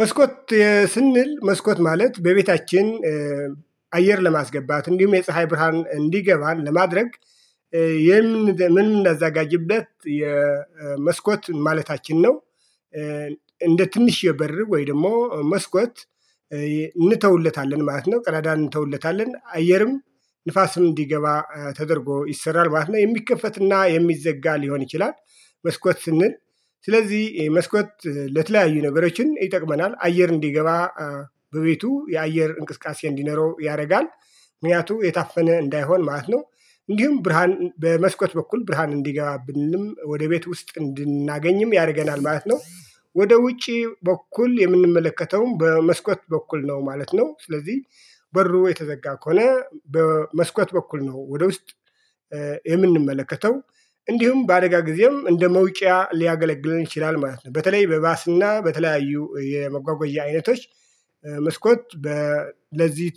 መስኮት ስንል መስኮት ማለት በቤታችን አየር ለማስገባት እንዲሁም የፀሀይ ብርሃን እንዲገባ ለማድረግ ምናዘጋጅበት የመስኮት ማለታችን ነው። እንደ ትንሽ የበር ወይ ደግሞ መስኮት እንተውለታለን ማለት ነው። ቀዳዳን እንተውለታለን አየርም ንፋስም እንዲገባ ተደርጎ ይሰራል ማለት ነው። የሚከፈትና የሚዘጋ ሊሆን ይችላል። መስኮት ስንል ስለዚህ መስኮት ለተለያዩ ነገሮችን ይጠቅመናል አየር እንዲገባ በቤቱ የአየር እንቅስቃሴ እንዲኖረው ያደርጋል ምክንያቱ የታፈነ እንዳይሆን ማለት ነው። እንዲሁም ብርሃን በመስኮት በኩል ብርሃን እንዲገባብንም ወደ ቤት ውስጥ እንድናገኝም ያደርገናል ማለት ነው። ወደ ውጪ በኩል የምንመለከተውም በመስኮት በኩል ነው ማለት ነው ስለዚህ። በሩ የተዘጋ ከሆነ በመስኮት በኩል ነው ወደ ውስጥ የምንመለከተው እንዲሁም በአደጋ ጊዜም እንደ መውጫ ሊያገለግለን ይችላል ማለት ነው። በተለይ በባስና በተለያዩ የመጓጓዣ አይነቶች መስኮት ለዚህ